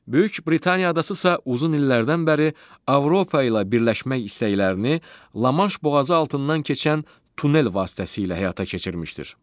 Böyük Britaniya adası isə uzun illərdən bəri Avropa ilə birləşmək istəklərini Lamaş boğazı altından keçən tunel vasitəsilə həyata keçirmişdir.